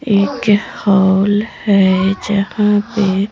एक हॉल है जहां पे--